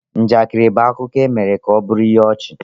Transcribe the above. Njakịrị bụ akụkọ e mere ka ọ bụrụ ihe ọchị.